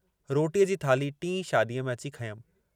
रोटीअ जी थाल्ही टीं शादीअ में अची खंयमि।